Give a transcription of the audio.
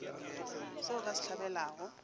se o ka se hlabelago